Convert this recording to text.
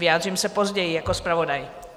Vyjádřím se později jako zpravodaj.